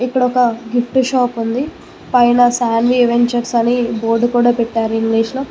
ఇక్కడ ఒక gift shop ఉంది పైన సాన్వి ఎవెంచర్స్ అని బోర్డు కూడా పెట్టారు ఇంగ్లీష్ లో.